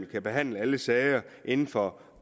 kan behandle alle sager inden for